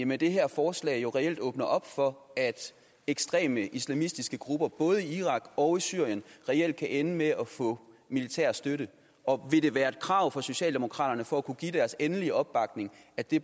med det her forslag jo reelt åbner op for at ekstreme islamistiske grupper både i irak og i syrien reelt kan ende med at få militær støtte og vil det være et krav fra socialdemokraterne for at kunne give deres endelig opbakning at det